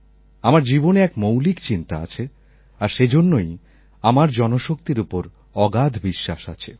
আমার জীবনে এক মৌলিক চিন্তা আছে আর সেজন্যই আমার জনশক্তির ওপর অগাধ বিশ্বাস আছে